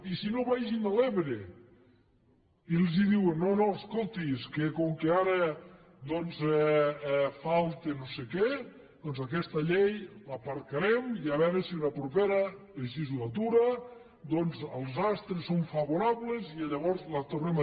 i si no vagin a l’ebre i els diuen no no escolti és que com que ara falta no sé què doncs aquesta llei l’aparcarem i a veure si en la propera legislatura els astres són favorables i llavors la tornem a